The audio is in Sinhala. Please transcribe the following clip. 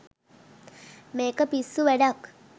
මේක පිස්සු වැඩක්